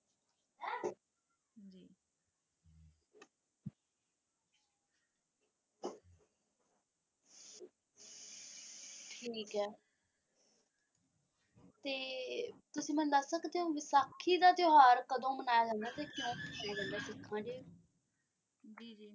ਠੀਕ ਹੈ ਤੇ ਤੁਸੀਂ ਮੈਨੂੰ ਦੱਸ ਸਕਦੇ ਹੋ ਕਿ ਵਿਸਾਖੀ ਦਾ ਤਿਉਹਾਰ ਕਦੋਂ ਮਨਾਇਆ ਜਾਂਦਾ ਹੈ ਤੇ ਕਿਉਂ ਮਨਾਇਆ ਹੈ ਜਾਂਦਾ ਸਿੱਖਾਂ ਚ।